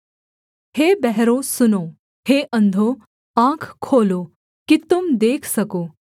हे बहरों सुनो हे अंधों आँख खोलो कि तुम देख सको